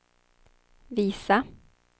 visa